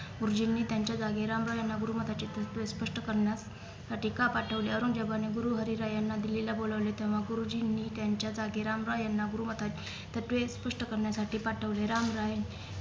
गुरु जींनी त्यांच्या जागी राम राय यांना गुरु मतांची तत्वे स्पष्ट करण्यात साठी का पाठवले औरंगजेबाने गुरु हरी राय यांना दिल्लीला बोलावले तेव्हा गुरुजींनी त्यांच्या जागी राम रॉय यांना गुरु मता तत्वे स्पष्ट करण्यासाठी पाठवले राम रॉय